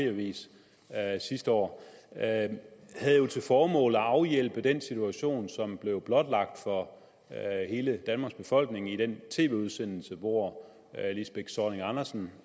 avisen sidste år havde jo til formål at afhjælpe den situation som blev blotlagt for hele danmarks befolkning i den tv udsendelse hvor lisbeth zornig andersen